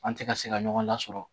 An tɛ ka se ka ɲɔgɔn lasɔrɔ